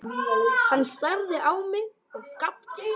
Hann starði á mig og gapti.